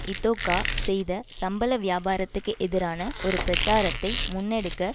இதொகா செய்த சம்பள வியாபாரத்துக்கு எதிரான ஒரு பிரச்சாரத்தை முன்னெடுக்க